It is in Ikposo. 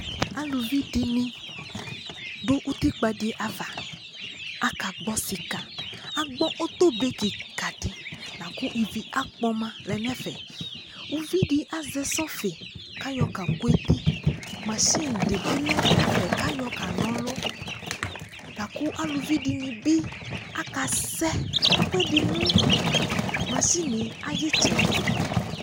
alʋvi dini dʋ ʋtikpa di aɣa, aka gbɔ sika, aka gbɔ ɔtɔ bɛ kika di lakʋ ivi akpɔma nʋ ɛfɛ, ʋvidi azɛ sɔfi lakʋ ayɔ ka kʋ ɛti, mashini dibi lɛnʋ ɛfɛ lakʋ ayɔ kanɔ ɔlʋ, lakʋ alʋvi dini bi aka zɛ ɛkʋɛdi nʋ mashiniɛ ayi ɛtsɛdi